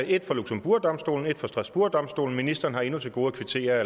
et fra luxembourgdomstolen et fra strasbourgdomstolen og ministeren har endnu til gode at kvittere